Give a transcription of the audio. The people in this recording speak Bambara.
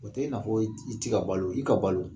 O tɛ i n'a fɔ i tɛ ka balo i ka balo